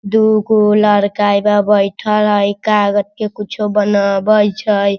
दो गो लड़का एपे बइठल हई इ कागज के कुछो बनावे छय।